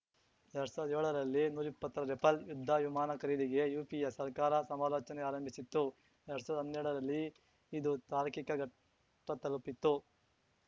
ಎರಡ್ ಸಾವ್ರ್ದಾ ಏಳರಲ್ಲಿ ನೂರಿಪ್ಪತ್ತಾರು ರಫೇಲ್‌ ಯುದ್ಧ ವಿಮಾನ ಖರೀದಿಗೆ ಯುಪಿಎ ಸರ್ಕಾರ ಸಮಾಲೋಚನೆ ಆರಂಭಿಸಿತ್ತು ಎರಡ್ ಸಾವ್ರ್ದಾ ಹನ್ನೆರಡರಲ್ಲಿ ಇದು ತಾರ್ಕಿಕ ಘಟ್ಟತಲುಪಿತ್ತು